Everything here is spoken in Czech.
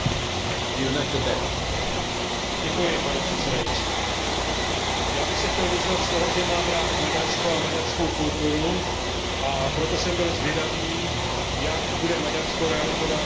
Pane předsedající, já bych se chtěl vyznat z toho, že mám rád Maďarsko a maďarskou kulturu, a proto jsem byl zvědavý, jak bude Maďarsko realizovat svou programovou tezi silné Evropy,